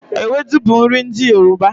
Ewedu bu nri ndi Yoruba